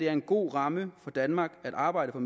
er en god ramme for danmarks arbejde for